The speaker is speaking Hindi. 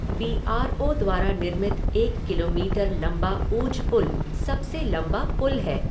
बी आर ओ द्वारा निर्मित एक किलोमीटर लम्बा ऊझ पुल सबसे लम्बा पुल है।